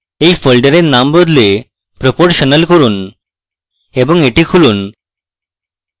এই folder নাম বদলে proportional করুন এবং এটি খুলুন